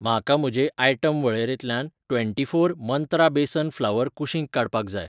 म्हाका म्हजे आयटम वळेरेंतल्यान ट्वेंटी फोर मंत्रा बेसन फ्लवर कुशींक काडपाक जाय.